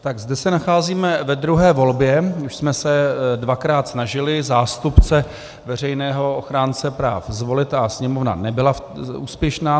Tak zde se nacházíme ve druhé volbě, už jsme se dvakrát snažili zástupce veřejného ochránce práv zvolit a Sněmovna nebyla úspěšná.